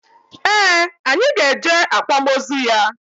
Ee, anyị ga eje akwamozu ya